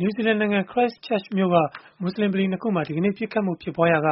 နယူးဇီလန်နိုင်ငံ Christchurch မြို့မှာ မူဆလင်ဗလီ ၂ ခုမှာ ဒီကနေ့ ပစ်ခတ်မှု ဖြစ်ပွားရာက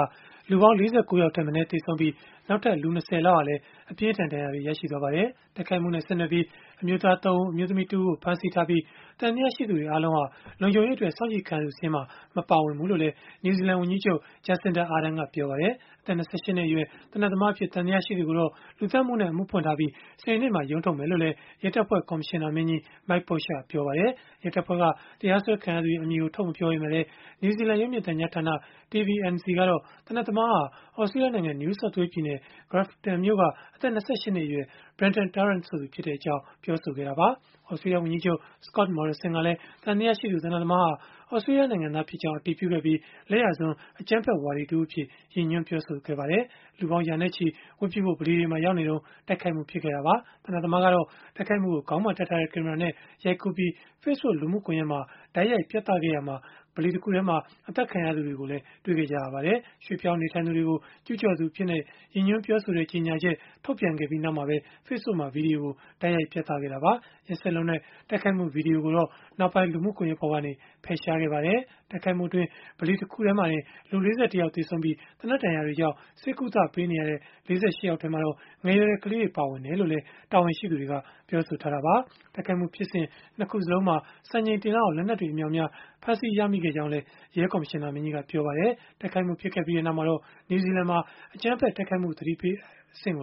လူပေါင်း ၄၉ ယောက် ထက်မနည်း သေဆုံးပြီး၊ နောက်ထပ် လူ ၂၀ လောက်ဟာလည်း အပြင်းအထန် ဒဏ်ရာတွေ ရရှိသွားပါတယ်။ တိုက်ခိုက်မှုနဲ့ ဆက်နွယ်ပြီး အမျိုးသား ၃ ဦး၊ အမျိုးသမီး ၁ ဦးကို ဖမ်းဆီးထားပြီး၊ သံသယရှိသူတွေ အားလုံးဟာ လုံခြုံရေးအတွက် စောင့်ကြည့်ခံရသူ စာရင်းမှာ မပါဘူးလို့လည်း နယူးဇီလန် ဝန်ကြီးချုပ် Jacinda Ardern ကပြောပါတယ်။ အသက် ၂၈ နှစ်အရွယ် သေနတ်သမားအဖြစ် သံသယရှိသူကိုတော့ လူသတ်မှုနဲ့ အမှုဖွင့်ထားပြီး စနေနေ့မှာ ရုံးထုတ်မယ်လို့လည်း ရဲတပ်ဖွဲ့ ကော်မရှင်နာမင်းကြီး Mike Bush ကပြောပါတယ်။ ရဲတပ်ဖွဲ့က တရားစွဲခံခဲ့ရသူရဲ့ အမည်ကို ထုတ်မပြောပေမဲ့လည်း နယူးဇီလန် ရုပ်မြင်သံကြားဌာန TVNZ ကတော့ သေနတ်သမားဟာ သြစတြေးလျနိုင်ငံ New South Wales ပြည်နယ်၊ Grafton မြို့က အသက် ၂၈ နှစ်အရွယ် Brenton Tarrant ဆိုသူဖြစ်ကြောင်း ပြောဆိုခဲ့တာပါ။ သြစတြေးလျ ဝန်ကြီးချုပ် Scott Morrison ကလည်း သံသယရှိသူ သေနတ်သမားဟာ သြစတြေးလျ နိုင်ငံသားဖြစ်ကြောင်း အတည်ပြုခဲ့ပြီး၊ လက်ယာစွန်း အကြမ်းဖက်ဝါဒီ အဖြစ် ရည်ညွှန်း ပြောဆိုခဲ့ပါတယ်။ လူပေါင်း ရာနဲ့ချီဝတ်ပြုဖို့ ဗလီတွေမှာ ရောက်နေစဉ်မှာ တိုက်ခိုက်မှုဖြစ်ခဲ့တာပါ။ သေနတ်သမားကတော့ တိုက်ခိုက်မှုကို ခေါင်းမှာတပ်ထားတဲ့ ကင်မရာနဲ့ ရိုက်ကူးပြီး Facebook လူမှုကွန်ရက်မှာ တိုက်ရိုက်ပြသခဲ့ရာမှာ ဗလီတခုထဲမှာ အသတ်ခံရသူတွေကို တွေ့ခဲ့ကြရပါတယ်။ ရွှေ့ပြောင်းနေထိုင်သူတွေကို ကျုးကျော်သူ အဖြစ်နဲ့ ရည်ညွှန်းပြောဆိုတဲ့ ကြေညာချက် ထုတ်ပြန်ခဲ့ပြီးနောက်မှာပဲ၊ Facebook မှာ ဗွီဒီယို တိုက်ရိုက်ပြသခဲ့တာပါ။ ရက်စက်လွန်းတဲ့ တိုက်ခိုက်မှု ဗွီဒီယိုကိုတော့ နောက်ပိုင်းမှာ လူမှုကွန်ရက်ပေါ်ကနေ ဖယ်ရှားခဲ့ပါတယ်။ တိုက်ခိုက်မှုအတွင်း ဗလီတခုထဲမှာတင် ၄၁ ယောက် သေဆုံးခဲ့ပြီး၊ သေနတ်ဒဏ်ရာတွေကြောင့် ဆေးကုသပေးနေရတဲ့ ၄၈ ယောက်မှာတော့ ငယ်ရွယ်တဲ့ ကလေးတွေ ပါဝင်တယ်လို့လည်း တာဝန်ရှိသူတွေက ပြောဆိုခဲ့ကြတာပါ။ တိုက်ခိုက်မှုဖြစ်စဉ် ၂ ခုစလုံးမှာ စံချိန်တင်လောက်အောင် လက်နက်တွေ အမြောက်အများ ဖမ်းဆီးရမိခဲ့တယ်လို့လည်း ပြောပါတယ်။ တိုက်ခိုက်မှု ဖြစ်ခဲ့ပြီးနောက် နယူးဇီလန်မှာ အကြမ်းဖက် တိုက်ခိုက်မှု အန္တရာယ် သတိပေးအဆင့်ကို